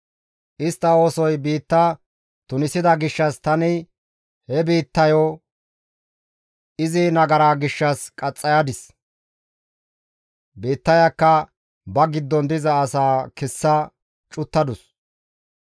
Istta oosoy biitta tunisida gishshas tani he biittayo izi nagara gishshas qaxxayadis; biittayakka ba giddon diza asaa kessa cuttadus.